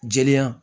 Jeliya